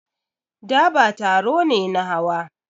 Daba taro ne na hawa.